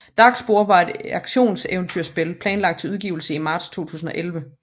Darkspore er et actioneventyrrollespil planlagt til udgivelse i marts 2011